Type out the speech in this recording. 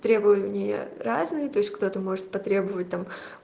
требования разные то есть кто-то может потребовать там